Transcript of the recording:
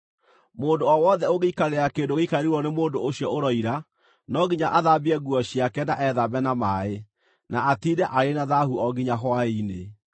Mũndũ o wothe ũngĩikarĩra kĩndũ gĩikarĩirwo nĩ mũndũ ũcio ũroira, no nginya athambie nguo ciake na ethambe na maaĩ, na atiinde arĩ na thaahu o nginya hwaĩ-inĩ.